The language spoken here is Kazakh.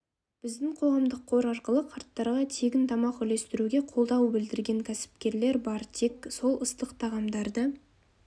біздің қоғамдық қор арқылы қарттарға тегін тамақ үлестіруге қолдау білдірген кәсіпкерлер бар тек сол ыстық тағамдарды